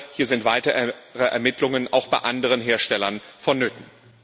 Hier sind weitere Ermittlungen auch bei anderen Herstellern vonnöten.